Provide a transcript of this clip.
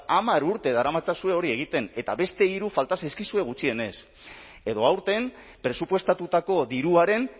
hamar urte daramatzazue hori egiten eta beste hiru falta zaizkizue gutxienez edo aurten presupuestatutako diruaren